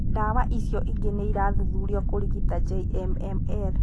Ndawa icio ingĩ nĩ irathuthurio kũrigita JMML.